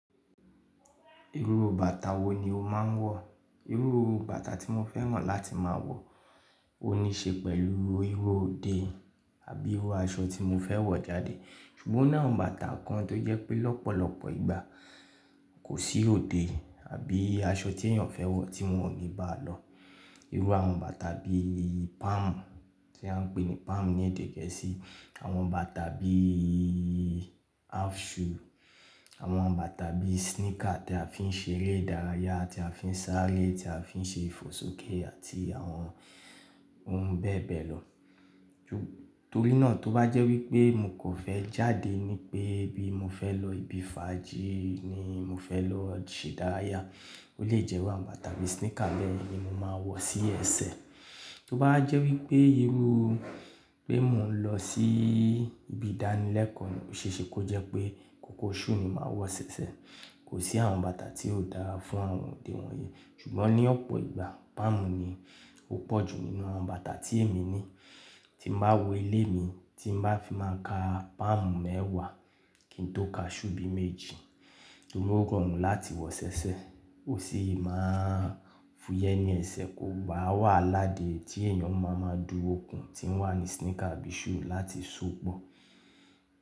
Irú bàtà wo ni o máa ń wọ̀? Irú bàtà tí mo fẹ́ràn láti máa wọ̀, ó níí ṣe pẹ̀lú irú òde àbí irú aṣọ tí mo fẹ́ wọ̀ jáde. Ṣùgbọ́n o ni awon bàtà kan tó jẹ́ pé lọ́pọ̀lọpọ̀ ìgbà kò sí òde àbí aṣọ tí èèyàn fẹ́ wọ̀ tí wọ́n ò ní ba lọ. Irú àwọn bàtà bí palm tí a ń pè ní palm ní èdè gẹ̀ẹ́sì, àwọn bàtà bí half shoe, àwọn bàtà bi sneaker tí a fi ń ṣe eré ìdárayá, tí a fi ń sáré, tí a fi ń ṣe ìfòsókè àti àwọn oun bẹ́ẹ̀ bẹ́ẹ̀ lọ. Torí náà tó bá jẹ́ wípé mo kò fẹ́ jáde ní pé bí mo fẹ́ lọ ibi fàájì ni mo fẹ́ lọ ṣe ìdárayá, ó lè jẹ́ wípé àwọn bàtà bí sneaker be yen ni mo máa wọ̀ sí ẹsẹ̀. Tó bá wa jẹ́ wípé irú pé mò ń lọ sí ibi ìdánilẹ́kọ̀o, o ṣe ṣẹ́, kó jẹ́ pé kòkó shoe ni màá wọ̀ ṣẹ̀ṣẹ̀. Kò sí àwọn bàtà tí ó dára fún àwọn òde wọ̀nyí. Ṣùgbọ́n ní ọ̀pọ̀ ìgbà palm ni ó pọ̀jù nínú àwọn bàtà tí èmi ní tín baa wọ ilé mi, tín baa fi máa ka palm mẹ́wàá kín tó ka shoe bí méjì torí ó rọrùn láti wọ ṣẹ̀ṣẹ̀, ó sì máa ń fúyẹ́ ní ẹsẹ̀ kó bá wàhala dè tí èèyàn máa ma du okún tín wà ní sneaker abí shoe láti so pọ̀.